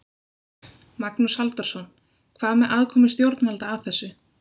Magnús Halldórsson: Hvað með aðkomu stjórnvalda að þessu?